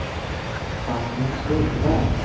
Agnes Lundberg